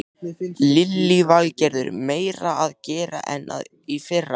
Lillý Valgerður: Meira að gera en í fyrra?